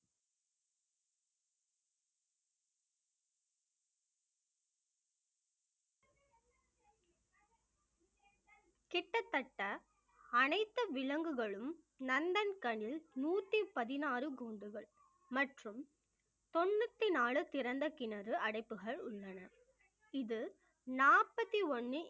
கிட்டத்தட்ட அனைத்து விலங்குகளும் நந்தன் நூத்தி பதினாறு கூண்டுகள் மற்றும் தொண்ணூத்தி நாலு திறந்த கிணறு அடைப்புகள் உள்ளன இது நாற்பத்தி ஒண்ணு